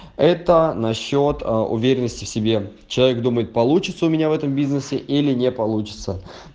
это насчёт уверенности в себе человек думает получится у меня в этом бизнесе или не получится